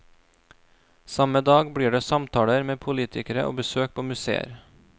Samme dag blir det samtaler med politikere og besøk på museer.